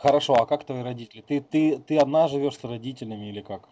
хорошо а как твои родители ты ты ты одна живёшь с родителями или как